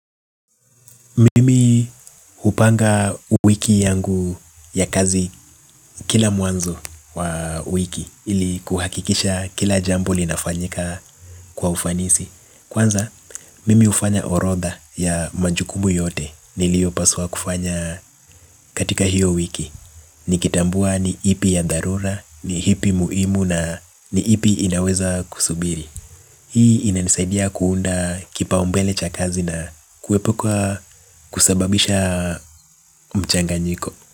Mimi hupanga wiki yangu ya kazi kila mwanzo wa wiki ili kuhakikisha kila jambpo linafanyika kwa ufanisi. Kwanza mimi hufanya orodha ya majukumu yote niliyo paswa kufanya katika hiyo wiki. Nikitambua ni ipi ya dharura, ni ipi muhimu na ni ipi inaweza kusubiri. Hii inanisaidia kuunda kipaumbele cha kazi na kuepuka kusababisha mchanganyiko.